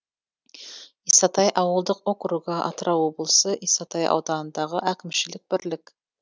исатай ауылдық округы атырау облысы исатай ауданындағы әкімшілік бірлік